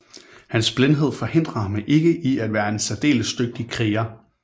Hans blindhed forhindrer ham ikke i at være en særdeles dygtig kriger